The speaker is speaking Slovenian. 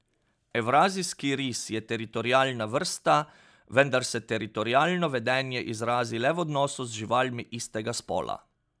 Evrazijski ris je teritorialna vrsta, vendar se teritorialno vedenje izrazi le v odnosu z živalmi istega spola.